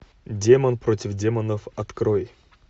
демон против демонов открой